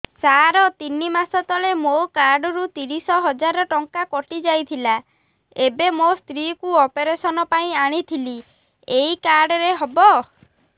ସାର ତିନି ମାସ ତଳେ ମୋ କାର୍ଡ ରୁ ତିରିଶ ହଜାର ଟଙ୍କା କଟିଯାଇଥିଲା ଏବେ ମୋ ସ୍ତ୍ରୀ କୁ ଅପେରସନ ପାଇଁ ଆଣିଥିଲି ଏଇ କାର୍ଡ ରେ ହବ